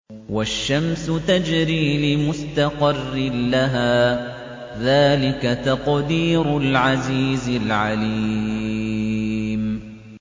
وَالشَّمْسُ تَجْرِي لِمُسْتَقَرٍّ لَّهَا ۚ ذَٰلِكَ تَقْدِيرُ الْعَزِيزِ الْعَلِيمِ